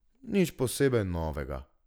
Nič posebej novega!